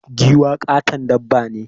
Giwa ƙaton dabba ne.